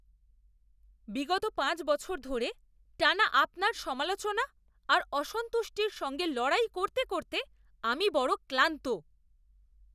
বিগত পাঁচ বছর ধরে টানা আপনার সমালোচনা আর অসন্তুষ্টির সঙ্গে লড়াই করতে করতে আমি বড় ক্লান্ত!